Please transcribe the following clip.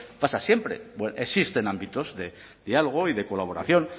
pasa siempre existen ámbitos de diálogo y de colaboración